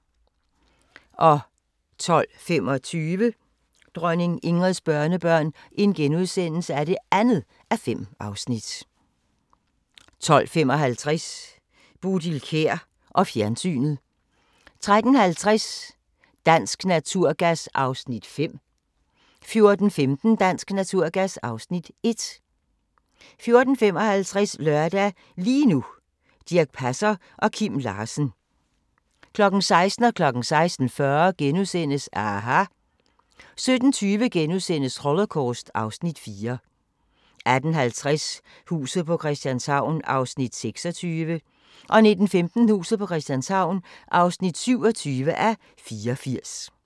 12:25: Dronning Ingrids børnebørn (2:5)* 12:55: Bodil Kjer og fjernsynet 13:50: Dansk Naturgas (Afs. 5) 14:15: Dansk Naturgas (Afs. 1) 14:55: Lørdag – lige nu: Dirch Passer og Kim Larsen 16:00: aHA! * 16:40: aHA! * 17:20: Holocaust (Afs. 4)* 18:50: Huset på Christianshavn (26:84) 19:15: Huset på Christianshavn (27:84)